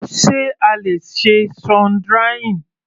Sé a le ṣe sun drying?